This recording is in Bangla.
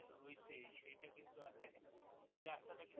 ওই রাস্তাতা কিন্তু হইছে সেটা কিন্তু আর দেখা